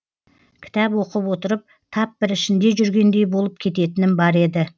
кітап оқып отырып тап бір ішінде жүргендей болып кететінім бар еді